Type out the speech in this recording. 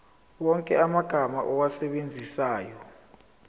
wonke amagama owasebenzisayo